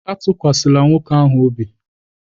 Atụkwasịla nwoke ahụ obi!